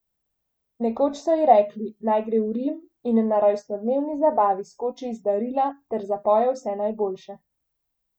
Nekoč so ji rekli, naj gre v Rim in na rojstnodnevni zabavi skoči iz darila ter zapoje Vse najboljše.